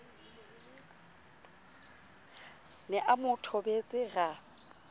ne a mo thobetse ra